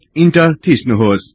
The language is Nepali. इन्टर थिच्नुहोस्